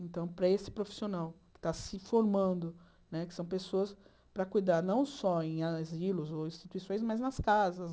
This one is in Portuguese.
Então, para esse profissional que está se formando né, que são pessoas para cuidar não só em asilos ou instituições, mas nas casas.